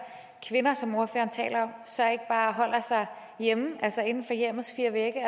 kvinder som ordføreren taler om så bare holder sig hjemme altså inden for hjemmets fire vægge